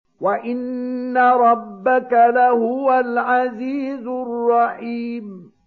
وَإِنَّ رَبَّكَ لَهُوَ الْعَزِيزُ الرَّحِيمُ